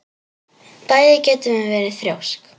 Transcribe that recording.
Bæði getum við verið þrjósk.